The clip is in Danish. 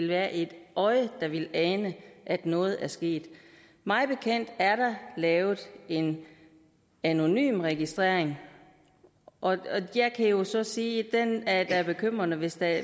være et øje der vil ane at noget er sket mig bekendt er der lavet en anonym registrering og jeg kan jo så sige at det da er bekymrende hvis der